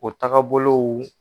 O tagabolow